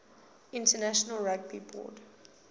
international rugby board